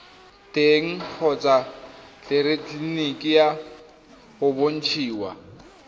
teng kgotsa tleleniki go bontshiwa